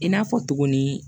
I n'a fɔ tuguni